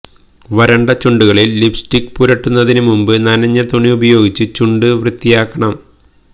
വരണ്ട ചുണ്ടുകളില് ലിപ്സ്റ്റിക് പുരട്ടുന്നതിന് മുമ്പ് നനഞ്ഞ തുണി ഉപയോഗിച്ച് ചുണ്ട് വൃത്തിയാക്കണം